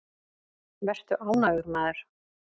Vertu ánægður, maður!